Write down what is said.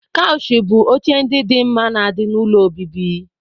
Koushi bụ oche ndị dị mma na di n'ụlọ obibi.